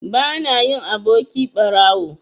Bana yin aboki ɓarawo.